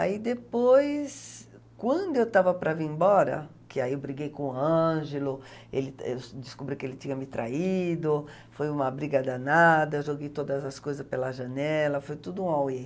Aí depois, quando eu estava para vir embora, que aí eu briguei com o Ângelo, ele, eu descobri que ele tinha me traído, foi uma briga danada, joguei todas as coisa pela janela, foi tudo um auê.